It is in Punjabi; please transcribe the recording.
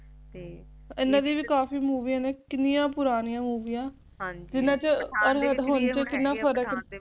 ਤੇ ਇਹਨਾਂ ਦੀ ਵੀ ਕਾਫੀ ਮੂਵਿਆ ਨੇ ਕਿੰਨੀਆਂ ਪੂਰਨਿਆਂ ਮੋਵਿਆ